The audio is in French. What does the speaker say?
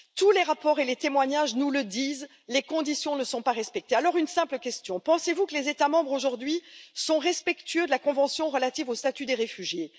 Tous les rapports et les témoignages nous le disent les conditions ne sont pas respectées. Alors une simple question pensez vous que les États membres aujourd'hui sont respectueux de la convention relative au statut des réfugiés?